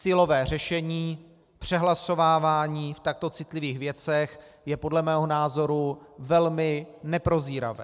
Silové řešení, přehlasovávání v takto citlivých věcech, je podle mého názoru velmi neprozíravé.